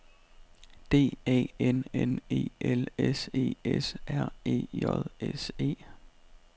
D A N N E L S E S R E J S E